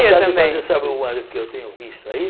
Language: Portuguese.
também Fazer, sabe o ano que eu tenho visto aí?